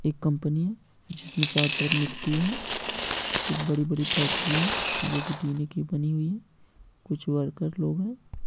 एक कंपनी जिसमें चारों तरफ मिट्टी है कुछ बड़ी-बड़ी फैक्ट्री है जो की टीने की बनी हुई है। कुछ वर्कर्स लोग हैं।